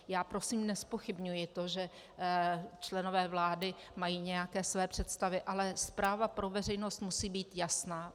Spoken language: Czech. Já prosím nezpochybňuji to, že členové vlády mají nějaké své představy, ale zpráva pro veřejnost musí být jasná.